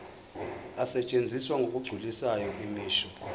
asetshenziswa ngokugculisayo imisho